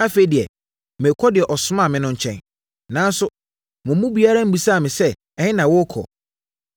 “Afei deɛ merekɔ deɛ ɔsomaa me no nkyɛn. Nanso, mo mu biara mmisaa me sɛ, ‘Ɛhe na worekɔ?’